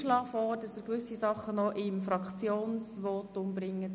Ich schlage vor, dass Sie gewisse Begründungen noch in Ihrem Fraktionsvotum vorbringen.